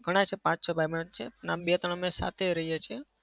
ઘણા છે. પાંચ-છ ભાઈબંધ જ છે. અમે બે-ત્રણ સાથે જ રહીએ છીએ.